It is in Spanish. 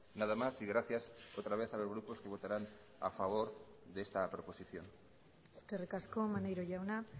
nada más y gracias otra vez a los grupos que votarán a favor de esta proposición eskerrik asko maneiro jauna